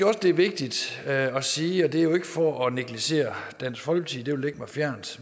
også det er vigtigt at sige og det er ikke for at negligere dansk folkeparti det ville ligge mig fjernt